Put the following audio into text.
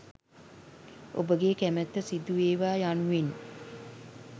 ඔබගේ කැමැත්ත සිදු වේවා යනුවෙන්